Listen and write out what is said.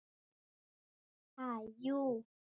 Ha, jú.